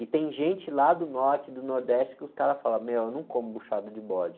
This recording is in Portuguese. E tem gente lá do norte, do nordeste, que os caras falam, meu, eu não como buchada de bode.